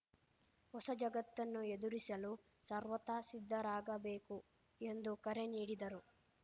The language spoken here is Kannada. ಹೊಸ ಜಗತ್ತನ್ನು ಎದುರಿಸಲು ಸರ್ವತಾ ಸಿದ್ಧರಾಗಬೇಕು ಎಂದು ಕರೆ ನೀಡಿದರು